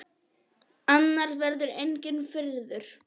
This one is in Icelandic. Annars verður enginn friður.